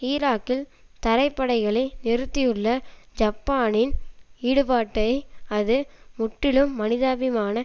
ஈராக்கில் தரைப்படைகளை நிறுத்தியுள்ள ஜப்பானின் ஈடுபாட்டை அது முற்றிலும் மனிதாபிமான